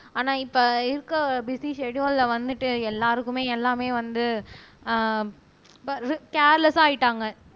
ஆனா இப்ப இருக்க பிஸி ஸ்செடுயுல வந்துட்டு எல்லாருக்குமே எல்லாமே வந்து ஆஹ் கேர்லெஸ்ஸா ஆயிட்டாங்க